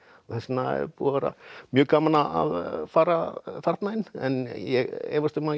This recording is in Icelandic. þess vegna er búið að vera mjög gaman að fara þarna inn en ég efast um að ég